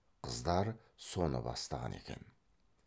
қыздар соны бастаған екен